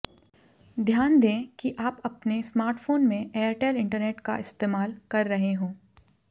ध्यान दें कि आप अपने स्मार्टफोन में एयरटेल इंटरनेट का इस्तेमाल कर रहे हों